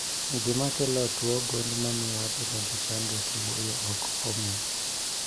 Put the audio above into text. Gima kelo tuo gund mamio wabedo gi chandruok e wuoyo ok ong'e